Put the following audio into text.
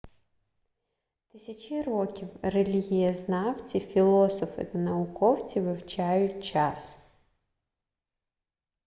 тисячі років релігієзнавці філософи та науковці вивчають час